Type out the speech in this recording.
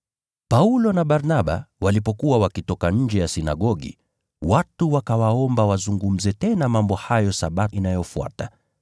Paulo na Barnaba walipokuwa wakitoka nje ya sinagogi, watu wakawaomba wazungumze tena mambo hayo Sabato iliyofuata.